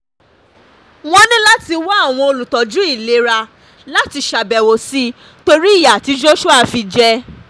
wọ́n ní láti wá àwọn olùtọ́jú um ìlera láti ṣàbẹ̀wò sí torí ìyà tí joshua fi jẹ um